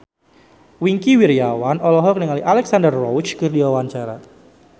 Wingky Wiryawan olohok ningali Alexandra Roach keur diwawancara